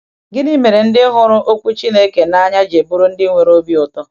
Gịnị mere ndị hụrụ Okwu Chineke n’anya ji bụrụ ndị nwere obi ụtọ?